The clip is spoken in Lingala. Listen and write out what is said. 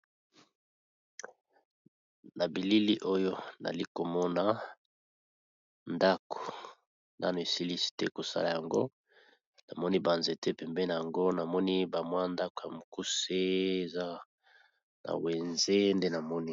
Na bilili oyo nazali ko mona ndako , na ba nzete, pembeni nayango wenze eza pe wana.